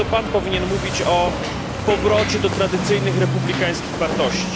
To Pan powinien mówić o powrocie do tradycyjnych republikańskich wartości.